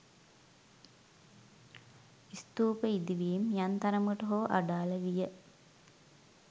ස්තූප ඉදිවීම් යම් තරමකට හෝ අඩාල විය.